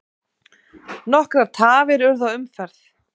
Nokkrar tafir urðu á umferð.